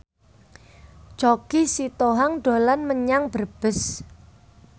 Choky Sitohang dolan menyang Brebes